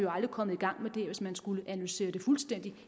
aldrig kommet i gang med det hvis man skulle analysere det fuldstændig